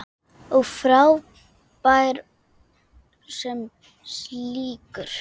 Og frábær sem slíkur.